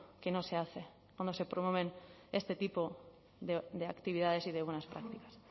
que no se hace cuando se promueven este tipo de actividades y de buenas prácticas